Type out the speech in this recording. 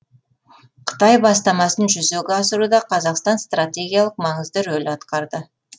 қытай бастамасын жүзеге асыруда қазақстан стратегиялық маңызды рөл атқарды